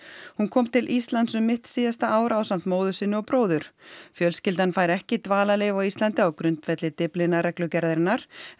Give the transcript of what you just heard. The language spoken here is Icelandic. hún kom til Íslands um mitt síðasta ár ásamt móður sinni og bróður fjölskyldan fær ekki dvalarleyfi á Íslandi á grundvelli Dyflinnarreglugerðarinnar en